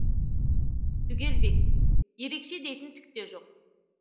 түгелбек ерекше дейтін түк те жоқ